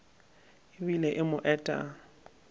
e bile e mo eta